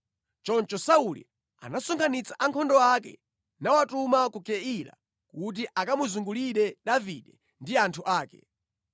Choncho Sauli anasonkhanitsa ankhondo ake nawatuma ku Keila kuti akamuzungulire Davide ndi anthu ake.